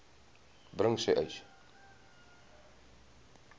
bring sê uys